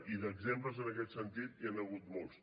i d’exemples en aquest sentit n’hi han hagut molts